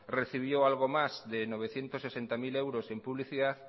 recibió algo más de novecientos sesenta mil euros en publicidad